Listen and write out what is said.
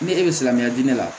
Ni e bɛ silamɛya di ne ma